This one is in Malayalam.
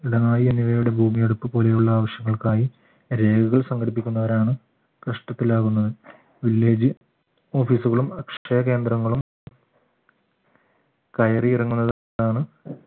എന്നിവയുടെ ഭൂമിയെടുപ്പ് പോലെയുള്ള ആവശ്യങ്ങൾക്കായി രേഖകൾ സംഘടിപ്പിക്കുന്നവരാണ് കഷ്ടത്തിലാകുന്നത് വില്ലേജ് office കളും അക്ഷയകേന്ദ്രങ്ങളും കയറിയിറങ്ങുന്നത് ആണ്